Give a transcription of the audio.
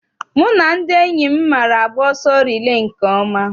Mụ na ndị enyi m maara agba ọsọ rilee nke ọma.